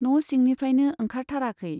न' सिंनिफ्राइनो ओंखारथाराखै।